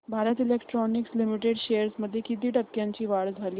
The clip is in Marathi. भारत इलेक्ट्रॉनिक्स लिमिटेड शेअर्स मध्ये किती टक्क्यांची वाढ झाली